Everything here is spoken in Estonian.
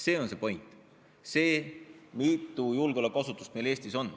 See on see point.